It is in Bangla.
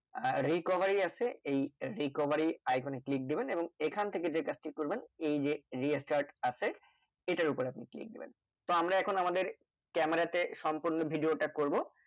আর Recovery আছে এই Recovery Icon এ click দিবেন এইখান থেকে যে কাজটি করবেন এই যে Restart আছে। এইটার উপর আপনি click দেবেন তো আমরা এখন আমাদের Camera তে সম্পূর্ণ video টা করব